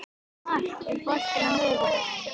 Mark, er bolti á miðvikudaginn?